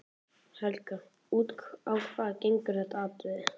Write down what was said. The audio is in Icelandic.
Helga: Út á hvað gengur þetta atriði?